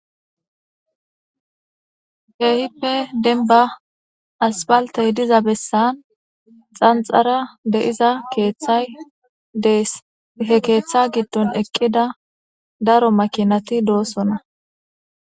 Kehipe denba asfaltey diza bessan xanxara de'iza keeththay dees he keeththa giddon eqqida daro makinati doosona.